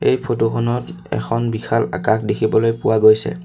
এই ফটো খনত এখন বিশাল আকাশ দেখিবলৈ পোৱা গৈছে।